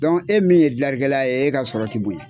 e min ye dilari kɛla ye e ka sɔrɔ tɛ bonya.